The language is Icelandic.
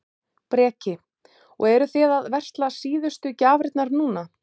Breki: Og eruð þið að versla síðustu gjafirnar núna?